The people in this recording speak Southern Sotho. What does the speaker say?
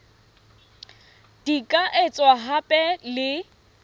di ka etswa hape le